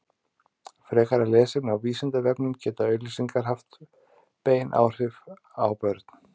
frekara lesefni á vísindavefnum geta auglýsingar haft bein áhrif á börn